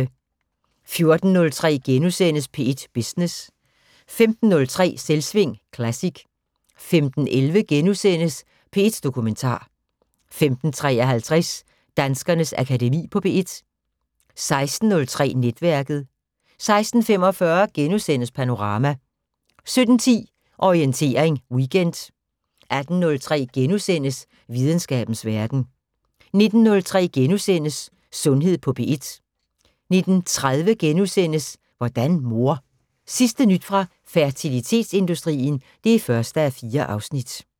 14:03: P1 Business * 15:03: Selvsving Classic 15:11: P1 Dokumentar * 15:53: Danskernes Akademi på P1 16:03: Netværket 16:45: Panorama * 17:10: Orientering Weekend 18:03: Videnskabens Verden * 19:03: Sundhed på P1 * 19:30: Hvordan mor? Sidste nyt fra fertilitetsindustrien (1:4)*